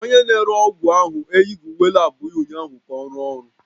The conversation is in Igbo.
Onye na-ere ọgwụ ahụ eyighị uwe lab ya ụnyaahụ ka ọ rụọ ọrụ